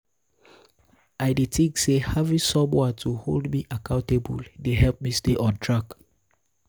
i dey think say having someone to hold me accountable dey help me stay on track.